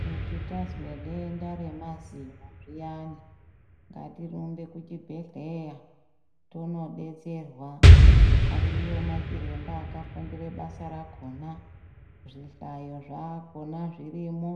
Kuti tazwe denda remazino zviyani ngatirumbe kuchibhedhleya tondo detserwa ariyo macviremba akafundire basa rakhona zvihlayo zvakhona zvirimo